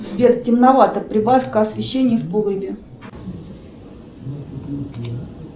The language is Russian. сбер темновато прибавь ка освещение в погребе